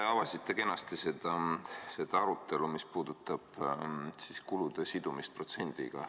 Te avasite kenasti selle arutelu, mis puudutab kulude sidumist protsendiga.